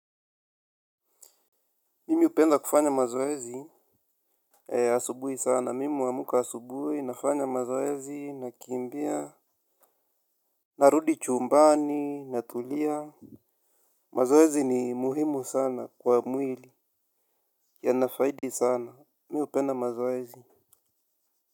Mimi hupenda kufanya mazoezi. Asubuhi sana, mimi huamka asubui, nafanya mazoezi, nakimbia. Narudi chumbani, natulia. Mazoezi ni muhimu sana kwa mwili, yana faidi sana, mi hupenda mazoezi.